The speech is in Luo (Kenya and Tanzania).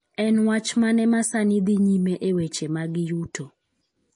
En wach mane ma sani dhi nyime e weche mag yuto?